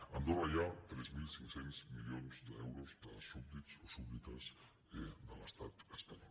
a andorra hi ha tres mil cinc cents milions d’euros de súbdits o súbdites de l’estat espanyol